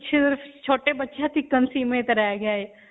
ਛੋਟੇ ਬੱਚਿਆਂ ਤੱਕ ਹੀ ਸੀਮਿਤ ਰਹਿ ਗਿਆ ਇਹ.